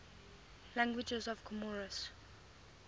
languages of comoros